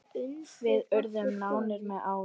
Við urðum nánir með árunum.